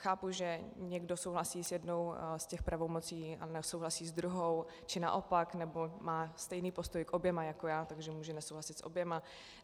Chápu, že někdo souhlasí s jednou z těch pravomocí a nesouhlasí s druhou, či naopak, nebo má stejný postoj k oběma jako já, takže může nesouhlasit s oběma.